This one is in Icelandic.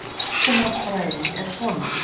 Flokkunarfræðin er svona: